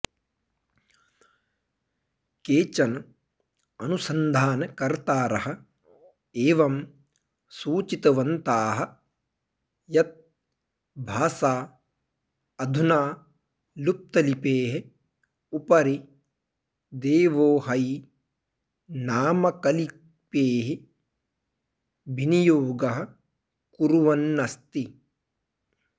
केचन अनुसन्धानकर्तारः एवं सूचितवन्ताः यत् भाषा अधुना लुप्तलिपेः उपरि देवोहै नामकलिपेः विनियोगः कुर्वन्नस्ति